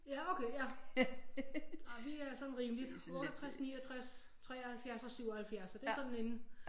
Ja okay ja ej vi er sådan rimeligt 68 69 73 77 så det er sådan inden